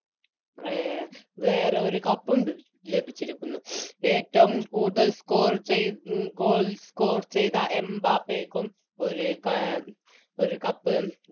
അഹ് വേറൊരു Cup ഉം ലഭിച്ചിരിക്കുന്നു ഏറ്റോം കൂടുതൽ Score ചെയ്ത Goal score ചെയ്ത എംബപ്പേക്കും ഒര് Cup എ വേറൊരു Cup ഉം ലഭിച്ചിരിക്കുന്നു